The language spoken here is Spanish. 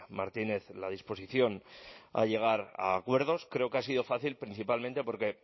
martínez la disposición a llegar a acuerdos creo que ha sido fácil principalmente porque